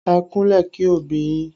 Ẹ kúnlẹ̀ kí òbí yín